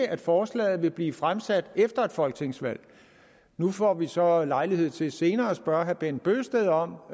at forslaget vil blive fremsat efter et folketingsvalg nu får vi så lejlighed til senere at spørge herre bent bøgsted om